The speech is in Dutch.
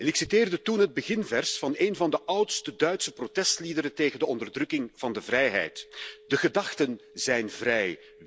Ik citeerde toen het beginvers van een van de oudste Duitse protestliederen tegen de onderdrukking van de vrijheid De gedachten zijn vrij.